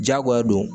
Jagoya don